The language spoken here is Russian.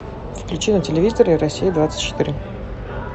включи на телевизоре россия двадцать четыре